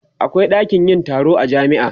akwai ɗakin Yan tsaro a jami'a